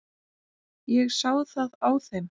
Ég sá það á þeim.